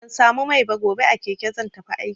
Ban samu mai ba, gobe a keke zan tafi aiki.